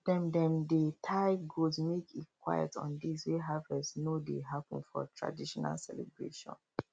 dem dem dey tie goat make e quiet on days wey harvest no dey happen for traditional celebration